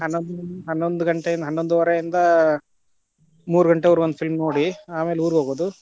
ಹನ್ನೊಂದ ಹನ್ನೊಂದ ಘಂಟೆ ಹನ್ನೊಂದುವರೆಯಿಂದ, ಮೂರು ಘಂಟೆವರ್ಗು ಒಂದ film ನೋಡಿ ಆಮೇಲೆ ಊರಿಗ್ ಹೋಗುದು.